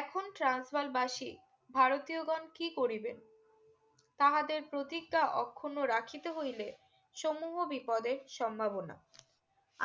এখন Transvaal বাসি ভারতীয় গন কি করিবে তাহাদের প্রতিজ্ঞা অক্ষুণ্ণ রাখিতে হইলে সমূহ বিপদে সম্ভাবনা